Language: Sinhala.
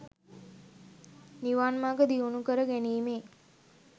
නිවන් මග දියුණු කර ගැනීමේ